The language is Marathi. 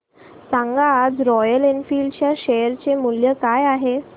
सांगा आज रॉयल एनफील्ड च्या शेअर चे मूल्य काय आहे